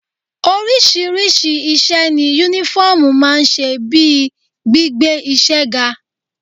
Oríṣiríṣi iṣẹ́ ni Únífọ́ọ̀mù máa ń ṣe bíi gbígbé iṣẹ́ ga